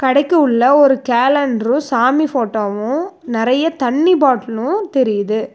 கடைக்கு உள்ள ஒரு கேலண்டரு சாமி ஃபோட்டோவு நெறைய தண்ணி பாட்டலு தெரியுது.